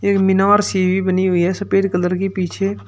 एक मीनार सी भी बनी हुई है सफेद कलर की पीछे।